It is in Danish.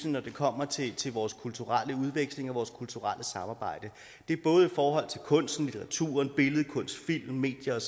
når det kommer til til vores kulturelle udveksling og vores kulturelle samarbejde det er både i forhold til kunsten litteraturen billedkunsten filmen medierne